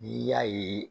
N'i y'a ye